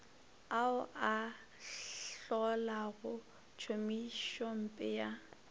ao a hlolago tšhomišompe ya